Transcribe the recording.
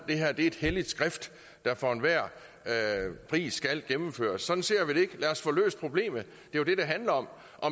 det her er et helligt skrift der for enhver pris skal gennemføres sådan ser vi det ikke lad os få løst problemet det er det det handler om